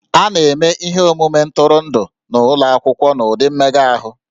A na-eme ihe omume ntụrụndụ n'ụlọ akwụkwọ n'ụdị mmega ahụ